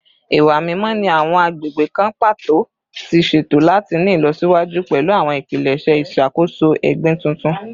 Iwa mimọ ni awọn agbegbe kan pato ti ṣeto lati ni ilọsiwaju pẹlu awọn ipilẹṣẹ iṣakoso egbin tuntun